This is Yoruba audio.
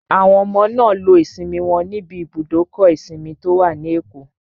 Àwọn ọmọ náà lo ìsinmi wọn níbi ibùdókọ̀ ìsinmi tó wà ní Èkó